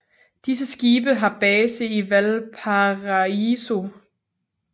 Disse skibe har base i Valparaíso